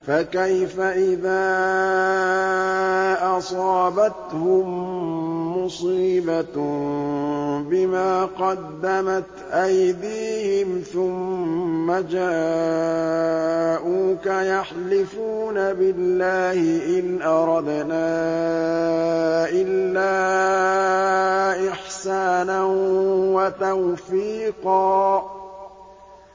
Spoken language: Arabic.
فَكَيْفَ إِذَا أَصَابَتْهُم مُّصِيبَةٌ بِمَا قَدَّمَتْ أَيْدِيهِمْ ثُمَّ جَاءُوكَ يَحْلِفُونَ بِاللَّهِ إِنْ أَرَدْنَا إِلَّا إِحْسَانًا وَتَوْفِيقًا